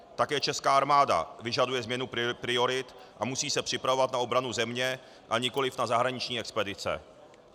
Také česká armáda vyžaduje změnu priorit a musí se připravovat na obranu země, a nikoliv na zahraniční expedice.